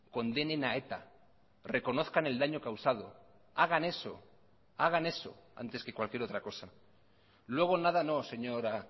condenen a eta reconozcan el daño causado hagan eso hagan eso antes que cualquier otra cosa luego nada no señora